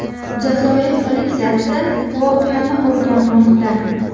Jazoir politsiyasi voqeani o‘rganmoqda.